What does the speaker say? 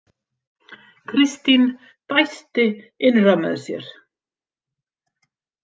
Kristín dæsti innra með sér.